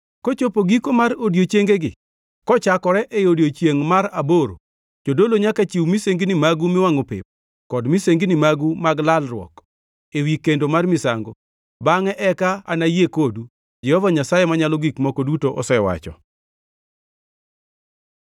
Kochopo giko mar odiechiengegi, kochakore e odiechiengʼ mar aboro, jodolo nyaka chiw misengini magu miwangʼo pep kod misengini magu mag lalruok ewi kendo mar misango. Bangʼe eka anayie kodu, Jehova Nyasaye Manyalo Gik Moko Duto osewacho.”